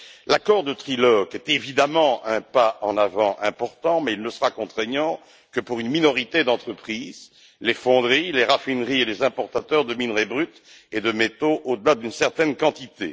L'accord de trilogue est évidemment un pas en avant important, mais il ne sera contraignant que pour une minorité d'entreprises les fonderies, les raffineries et les importateurs de minerai brut et de métaux au delà d'une certaine quantité.